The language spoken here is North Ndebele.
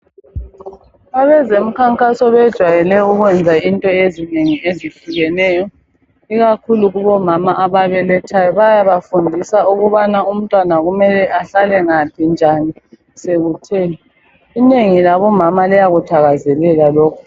Abeze mkhankaso bajayele ukwenza izinto ezinengi ezitshiyeneyo ikakhulu kubo mama ababelethayo bayabafundisa ukubana umntwana kumele ahlale ngaphi njani sekutheni inengi labomama liyakuthakazelela lokhu.